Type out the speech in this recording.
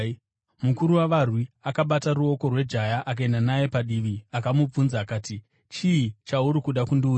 Mukuru wavarwi akabata ruoko rwejaya, akaenda naye padivi akamubvunza akati, “Chii chauri kuda kundiudza?”